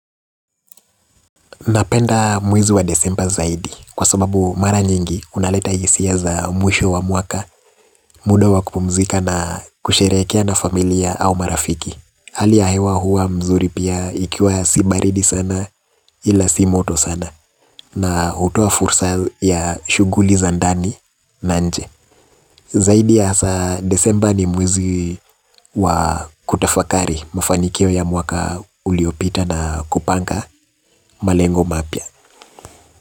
Napenda mwezi wa desemba zaidi kwa sababu mara nyingi unaleta hisia za mwisho wa mwaka. Muda wa kupumzika na kusherekea na familia au marafiki hali ya hewa hua mzuri pia ikiwa si baridi sana ila si moto sana. Na utoa fursa ya shuguli za ndani na nje. Zaidi asa desemba ni mwezi wa kutafakari mafanikio ya mwaka uliopita na kupanga malengo mapya.